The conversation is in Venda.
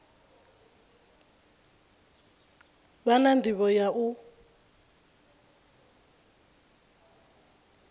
vha na ndivho ya u